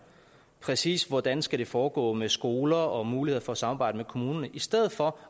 præcis hvordan det skal foregå med skoler og muligheder for at samarbejde med kommunerne i stedet for